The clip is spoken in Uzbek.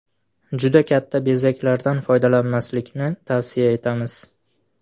Juda katta bezaklardan foydalanmaslikni tavsiya etamiz.